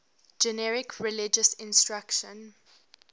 generic religious instruction